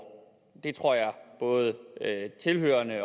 det tror jeg både tilhørerne